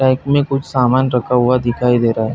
Track मे कुछ सामान रखा हुआ दिखाई दे रहा है।